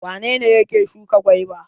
Wane ne yake shuka gwaiba?